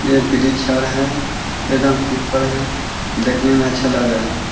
ये है एकदम सुपर है देखने में अच्छा लग रहा है ।